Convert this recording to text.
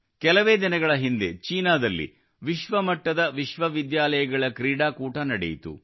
ಕೆಲವೇ ದಿನಗಳ ಹಿಂದೆ ಚೀನಾದಲ್ಲಿ ವಿಶ್ವಮಟ್ಟದ ವಿಶ್ವವಿದ್ಯಾಲಯಗಳ ಕ್ರೀಡಾಕೂಟ ನಡೆಯಿತು